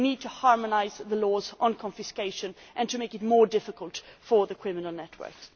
We need to harmonise the laws on confiscation and to make it more difficult for the criminal networks.